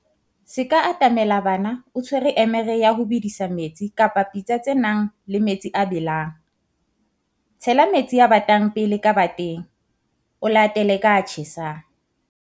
Se ka atamela bana o tshwere emere ya ho bedisa metsi kapa pitsa tse nang le metsi a a belang. Tshela metsi a batang pele ka bateng, o latele ka a tjhesang.